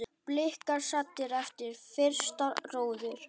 Blikar saddir eftir fyrsta róður?